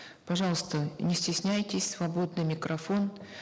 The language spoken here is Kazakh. пожалуйста не стесняйтесь свободный микрофон